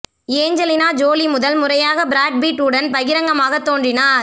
Angelina Jolie முதல் முறையாக Brad Pitt உடன் பகிரங்கமாக தோன்றினார்